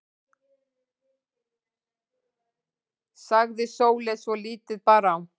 sagði Sóley svo lítið bar á.